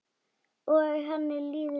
Og henni líður vel.